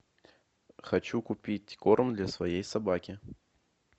хочу купить корм для своей собаки